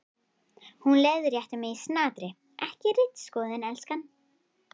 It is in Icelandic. Hún leiðréttir mig í snatri: Ekki ritskoðun, elskan.